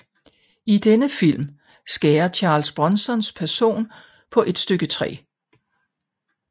I denne film skærer Charles Bronsons person på et stykke træ